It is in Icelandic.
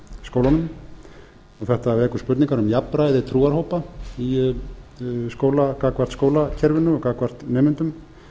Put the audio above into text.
skólunum en þetta vekur spurningu um jafnræði trúarhópa gagnvart skólakerfinu og gagnvart nemendum